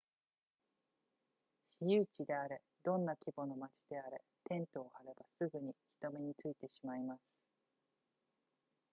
私有地であれどんな規模の町であれテントを張ればすぐに人目についてしまいます